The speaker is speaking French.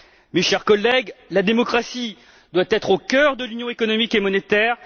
Mes chers collègues, la démocratie doit être au cœur de l'Union économique et monétaire.